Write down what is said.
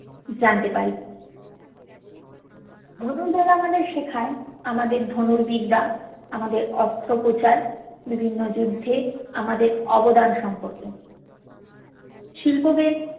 জানতে পারি ধনুর্বেদ আমাদের শেখায় আমাদের ধনুর বিদ্যা আমাদের অস্ত্রপ্রচার বিভিন্ন যুদ্ধে আমাদের অবদান সম্পর্কে শিল্পোবেদ